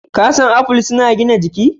Ka san apple suna gina jiki?